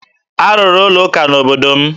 A rụrụ ụlọụka n'obodo m.